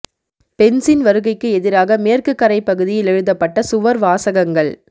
பென்ஸின் வருகைக்கு எதிராக மேற்கு கரை பகுதியில் எழுதப்பட்ட சுவர் வாசகங்கள்